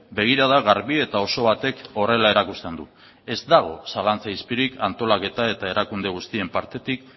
begirada garbi eta oso batek horrela erakusten du ez dago zalantza izpirik antolaketa eta erakunde guztien partetik